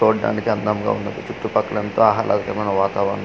చూడ్డానికి అందముగా ఉన్నది చుట్టు పక్కల అంతా ఆహ్లాదమైన వాతావరణం.